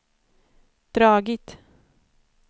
dragit